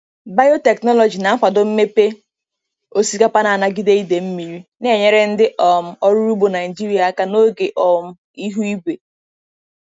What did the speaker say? Biotechnology na-akwado mmepe osikapa na-anagide ide mmiri, na-enyere ndị um ọrụ ugbo Naijiria aka n'oge oke um ihu igwe.